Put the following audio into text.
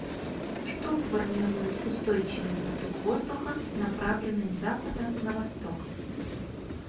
что формирует устойчивый поток воздуха направленный с запада на восток